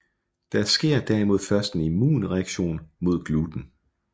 Der sker derimod først en immunreaktion mod gluten